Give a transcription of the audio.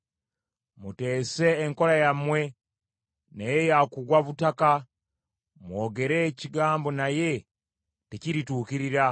Muteese enkola yammwe, naye yakugwa butaka, mwogere ekigambo naye tekirituukirira.